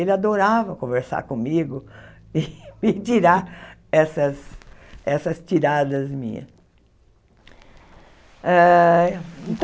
Ele adorava conversar comigo e tirar essas essas tiradas minhas.